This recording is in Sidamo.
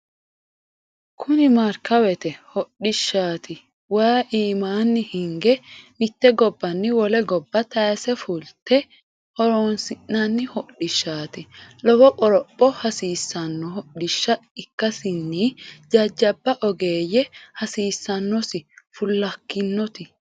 Kuni markawete hodhishshati waayi iimani hinge mite gobbanni wole gobba tayse fulte horonsi'nanni hodhishshati lowo qoropho hasiisano hodhishsha ikkasinni jajjabba ogeeyye hasiisanosi fulakkinoti.